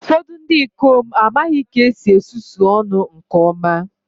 Ụfọdụ ndị ikom amaghị ka esi esusu ọnụ nke ọma